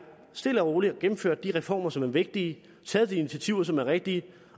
stille og roligt at gennemføre de reformer som er vigtige at tage de initiativer som er rigtige